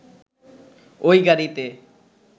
ওই গাড়িতে